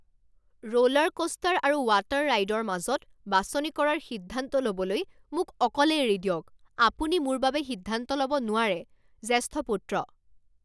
Roller coaster আৰু water ৰাইডৰ মাজত বাছনি কৰাৰ সিদ্ধান্ত ল'বলৈ মোক অকলে এৰি দিয়ক আপুনি মোৰ বাবে সিদ্ধান্ত ল'ব নোৱাৰে। জ্যেষ্ঠ পুত্ৰ